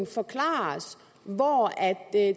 forklare os hvor hvor